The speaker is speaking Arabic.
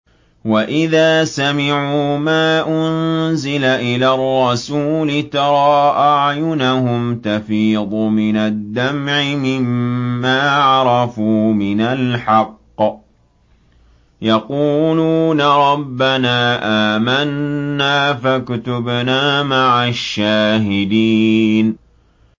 وَإِذَا سَمِعُوا مَا أُنزِلَ إِلَى الرَّسُولِ تَرَىٰ أَعْيُنَهُمْ تَفِيضُ مِنَ الدَّمْعِ مِمَّا عَرَفُوا مِنَ الْحَقِّ ۖ يَقُولُونَ رَبَّنَا آمَنَّا فَاكْتُبْنَا مَعَ الشَّاهِدِينَ